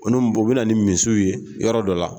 U ni u bɛ na ni misiw ye yɔrɔ dɔ la